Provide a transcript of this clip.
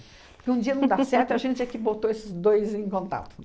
Porque um dia não dá certo e a gente é que botou esses dois em contato.